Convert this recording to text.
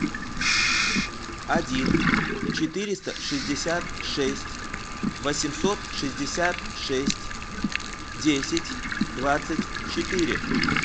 один четыреста шестьдесят шесть восемьсот шестьдесят шесть десять двадцать четыре